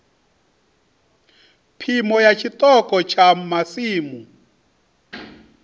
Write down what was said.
phimo ya tshiṱoko tsha masimu